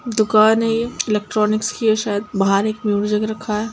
दुकान है ये एलेक्ट्रॉनिक्स की है शायद| बाहर एक मयूरजग रखा है।